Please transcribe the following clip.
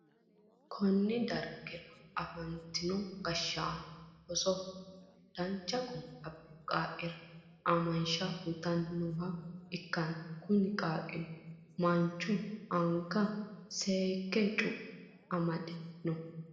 konne darga afantino gashshaano rosoho dancha guma abbino qaaqqira aamansha uytanni nooha ikkanna, kuni qaaqqino mancho anga seekke cu'me adhanni nooho.